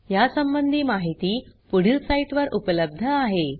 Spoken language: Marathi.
यासंबंधी माहिती पुढील साईटवर उपलब्ध आहे